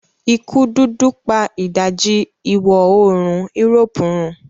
ikú dúdú pa ìdajì iwọ oorun Europe run.